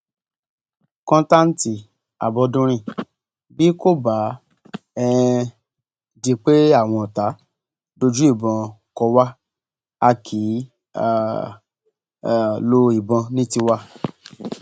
kọńtántí àbọdúnrin bí kò bá um di pé àwọn ọtá dójú ìbọn kó wá a kì í um lo ìbọn ní tiwa